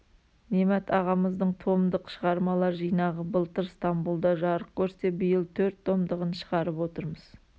немат ағамыздың томдық шығармалар жинағы былтыр стамбулда жарық көрсе биыл төрт томдығын шығарып отырмыз